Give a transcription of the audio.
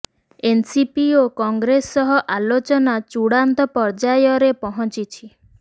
NCP ଓ କଂଗ୍ରେସ ସହ ଆଲୋଚନା ଚୂଡ଼ାନ୍ତ ପର୍ଯ୍ୟାୟରେ ପହଞ୍ଚିଛି